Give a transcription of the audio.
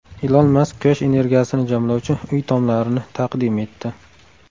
Ilon Mask quyosh energiyasini jamlovchi uy tomlarini taqdim etdi.